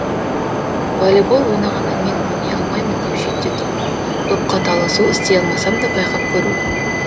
волейбол ойнағанда мен ойнай алмаймын деп шетте тұрмау допқа таласу істей алмасам да байқап көру